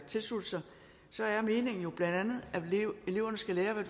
tilslutte sig så er meningen jo bla at eleverne skal lære hvad